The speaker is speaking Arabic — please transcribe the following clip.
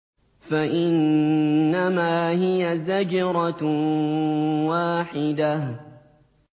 فَإِنَّمَا هِيَ زَجْرَةٌ وَاحِدَةٌ